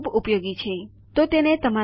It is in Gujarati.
જો તમને કોઈ પ્રશ્નો હોય તો મને જણાવવા વિનંતી